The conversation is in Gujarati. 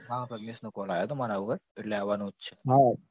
હા પ્રજ્ઞેશનો call આવ્યો તો મારા પાર એટલે આવાનું જ છે